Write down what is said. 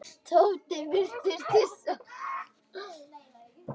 Tóti virtist hissa.